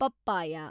papaya